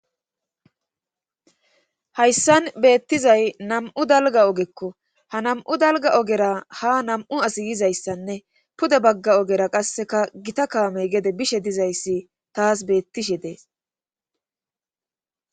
hayssan beettizay nam7u dalga ogekko ha nam7u dalga ogera ha nam7u as yizayssanne pude bagga ogera qasseka gita kaamey gede bishe dizayssi taas beettishe dees